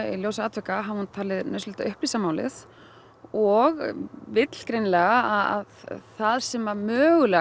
í ljósi atvika hafi hún talið nauðsynlegt að upplýsa málið og vill greinilega að það sem mögulega